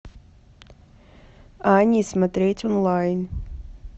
ани смотреть онлайн